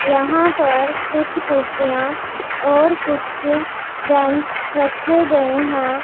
यहां पर कुछ कुर्सियां और कुछ बेंच रखे गए हैं।